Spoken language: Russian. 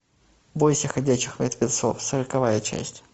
бойся ходячих мертвецов сороковая часть